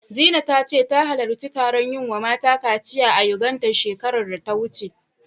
Zina ta ce, ta halarci taron yi wa mata kaciya a Yuganda, shekarar da ta wuce.